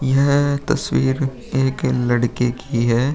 यह तस्वीर एक लड़के की है।